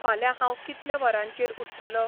फाल्यां हांव कितल्या वरांचेर उठ्ठलो